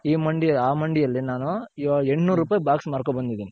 ಈ ಮಂಡಿ ಆ ಮಂಡಿ ಅಲ್ಲಿ ನಾನು ಎಂಟ್ ನೂರೂಪಾಯ್ box ಮಾರ್ ಕೊಂಡ್ ಬಂದಿದೀನಿ.